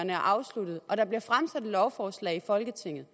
er afsluttet og der bliver fremsat et lovforslag i folketinget